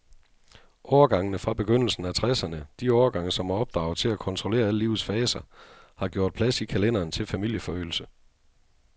Årgangene fra begyndelsen af tresserne, de årgange, som er opdraget til at kontrollere alle livets faser, har gjort plads i kalenderen til familieforøgelse.